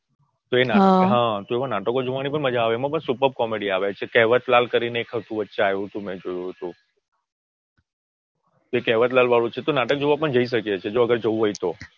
તો એ નાટકો જોવાની પણ મજા આવે છે એમાં પણ Superb Comedy આવે છે કહેવત લાલ કરીને એક હતું એ વચ્ચે આવ્યું તું મેં જોયું તું કહેવત લાલ વાળું છે તો નાટક જોવા પણ જઈ શકીએ છીએ જો અગર જવુ હોય તો.